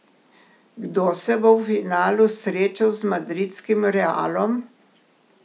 Kdo se bo v finalu srečal z madridskim Realom?